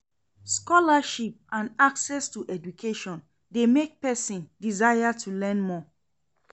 Scholarships and access to education de make persin desire to learn more